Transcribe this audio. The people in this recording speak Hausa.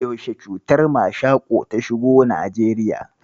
Yaushe cutar mashaƙo ta shigo Najeriya?